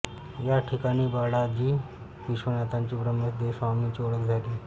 या ठिकाणी बाळाजी विश्वनाथांची व ब्रह्मेंदस्वामींची ओळख झाली